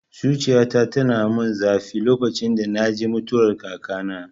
Zuciyata tayi mun zafi lokacin da naji mutuwar kakana